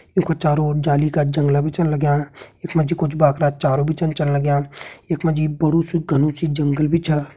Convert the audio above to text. ये कु चारों ओर जाली का जंगला बि चन लग्यां। यक मजी कुछ बाखरा चारों बि चन चल लग्यां। यक मजी बड़ु सु घनु सु जंगल बि छा।